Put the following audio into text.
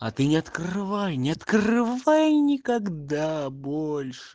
а ты не открывай не открывай никогда больше